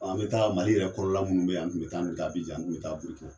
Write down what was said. An bɛ taa Mali yɛrɛ kɔrɔ la minnu bɛ yan an tun bɛ taa an tun bɛ taa Abijan an tun bɛ taa Birikina.